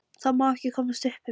Það má ekki komast upp um mig.